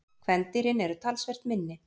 Kvendýrin eru talsvert minni.